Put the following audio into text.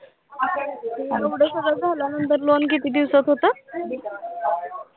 एवढं सगळं झाल्यानंतर loan किती दिवसात होतं.